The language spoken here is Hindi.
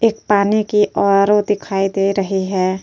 एक पानी की आर ओ दिखाई दे रही है।